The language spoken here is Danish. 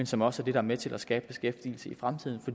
som også kan være med til at skabe beskæftigelse i fremtiden